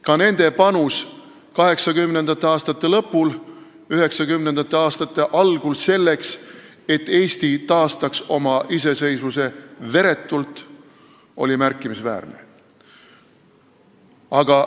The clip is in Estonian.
Ka nende panus oli 1980. aastate lõpul ja 1990. aastate algul selleks, et Eesti taastaks oma iseseisvuse veretult, märkimisväärne.